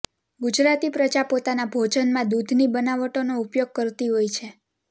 ગુજરાતી પ્રજા પોતાના ભોજનમાં દૂધની બનાવટોનો ઉપયોગ કરતી હોય છે